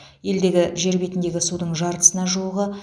елдегі жер бетіндегі судың жартысына жуығы